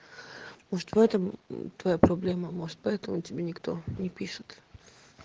может в этом это твоя проблема может поэтому тебе никто не пишет